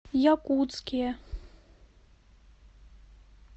якутске